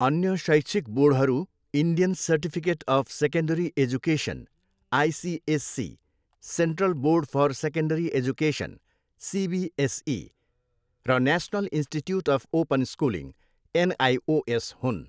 अन्य शैक्षिक बोर्डहरू Indian certificate of secondary education, ICSE, central board for secondary education, CBSE, र national institute of open schooling, NIOS हुन्।